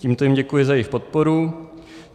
Tímto jim děkuji za jejich podporu.